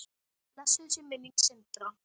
Blessuð sé minning Sindra.